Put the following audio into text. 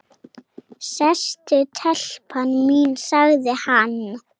Sestu telpa mín, sagði hann.